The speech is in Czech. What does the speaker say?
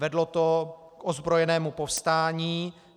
Vedlo to k ozbrojenému povstání.